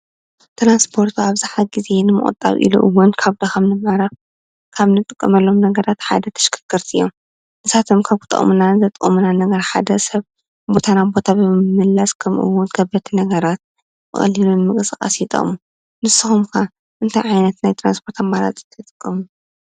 ትራንስፖርት ኣብዛሓ ግዜ ንምቅልጣፍ ካብ እንጥቀመሎም ነገራት ሓዳ ተሽከርከርቲ እዮም ፣ ንሳቶም ከብ ሓደ ሰብ ካብ ቦታ ናብ ቦታ ንምምልላስ ወይ ከዓ ከበድቲ ነገራት ንመቅስቃስስ ይጠቅሙ። ንስኩም ከ እንታይ ዓይነት ናይ ትራስፖርት ኣማራፂ ትጥቀሙ።